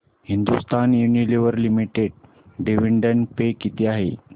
Hindustan Unilever limited dividend pay किती आहे